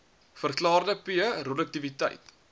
verlaagde p roduktiwiteit